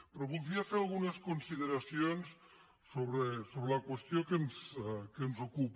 però voldria fer algunes consideracions sobre la qües·tió que ens ocupa